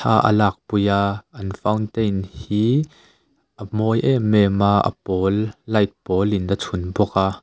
a a lakpui a an fountain hi a mawi em em a a pawl light pawlin a chhun bawk a.